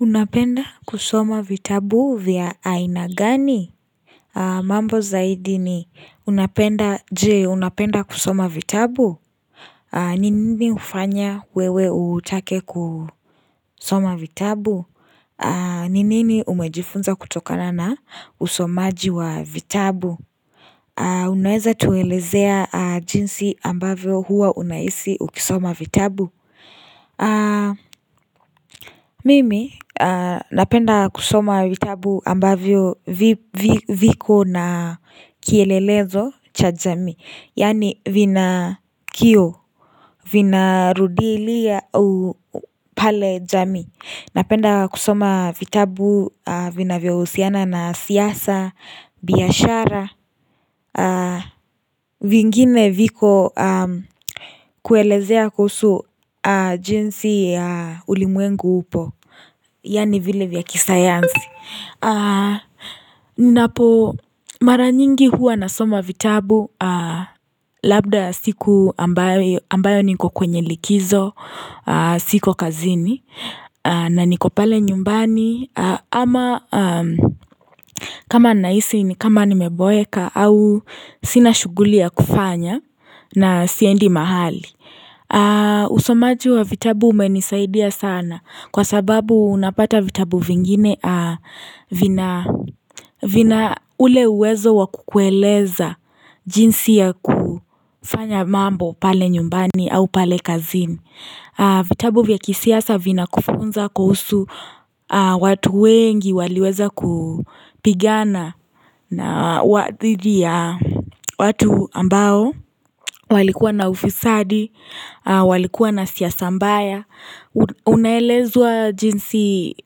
Unapenda kusoma vitabu vya aina gani? Mambo zaidi ni unapenda je unapenda kusoma vitabu? Ni nini hufanya wewe utake kusoma vitabu? N inini umejifunza kutokana na usomaji wa vitabu? Unaweza tuelezea jinsi ambavyo huwa unahisi ukisoma vitabu? Mimi napenda kusoma vitabu ambavyo viko na kielelezo cha jamii Yani vina kioo, vina rudilia u pale jamii Napenda kusoma vitabu vinavyo husiana na siasa, biashara vingine viko kuelezea kusu jinsi ulimwengu upo Yani vile vya kisatansi Ninapo mara nyingi huwa na soma vitabu Labda siku ambayo niko kwenye likizo siko kazini na niko pale nyumbani Ama kama nahisi ni kama nimeboeka au sina shughuli ya kufanya na siendi mahali Usomaju wa vitabu umenisaidia sana Kwa sababu unapata vitabu vingine vina ule uwezo wakukueleza jinsi ya kufanya mambo pale nyumbani au pale kazini vitabu vya kisiasa vinakufunza kuhusu watu wengi waliweza kupigana na dhidi ya watu ambao walikuwa na ufisadi, walikuwa na siyasa mbaya Unaelezwa jinsi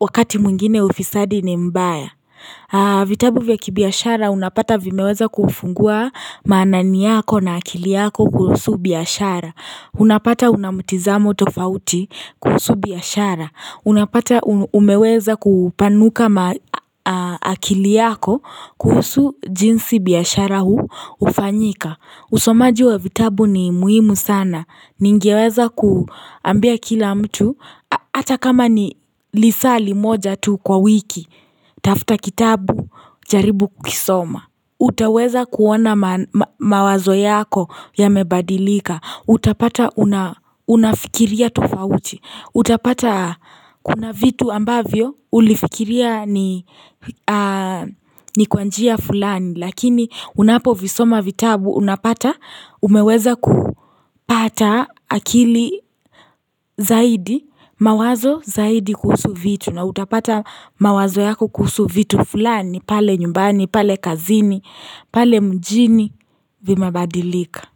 wakati mwingine ufisadi ni mbaya vitabu vya kibiashara unapata vimeweza kufungua manani yako na akili yako kuhusu biashara Unapata unamutizamo tofauti kuhusu biashara Unapata umeweza kupanuka akili yako kuhusu jinsi biashara huu hufanyika usomaji wa vitabu ni muhimu sana Ningeweza kuambia kila mtu Ata kama ni lisaa limoja tu kwa wiki Tafuta kitabu jaribu kukisoma utaweza kuona mawazo yako yamebadilika Utapata unafikiria tofauti Utapata kuna vitu ambavyo ulifikiria ni kwa njia fulani Lakini unapovisoma vitabu unapata umeweza kupata akili zaidi mawazo zaidi kusu vitu na utapata mawazo yako kusu vitu fulani pale nyumbani pale kazini pale mjini vimebadilika.